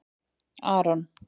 Aron